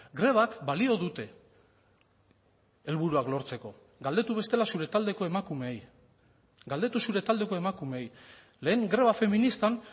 grebak balio dute helburuak lortzeko galdetu bestela zure taldeko emakumeei galdetu zure taldeko emakumeei lehen greba feministan